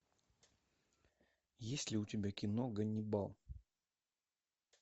есть ли у тебя кино ганнибал